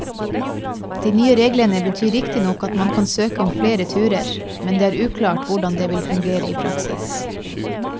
De nye reglene betyr riktignok at man kan søke om flere turer, men det er uklart hvordan det vil fungere i praksis.